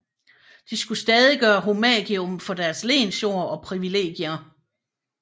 De skulle stadig gøre homagium for deres lensjord og privilegier